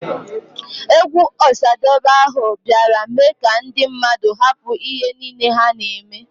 Egwu Osadebe ahụ biara mee ka ndi mmadụ hapụ ihe nile ha na emee.